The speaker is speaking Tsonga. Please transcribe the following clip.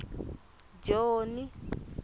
joni